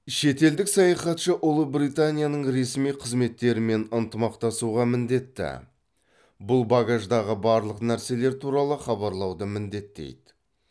шетелдік саяхатшы ұлыбританияның ресми қызметтерімен ынтымақтасуға міндетті бұл багаждағы барлық нәрселер туралы хабарлауды міндеттейді